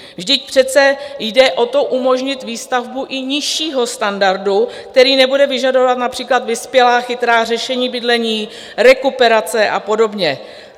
Vždyť přece jde o to, umožnit výstavbu i nižšího standardu, který nebude vyžadovat například vyspělá chytrá řešení bydlení, rekuperace a podobně.